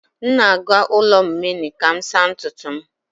M na-aga ụlọ mmany ka m saa ntutu m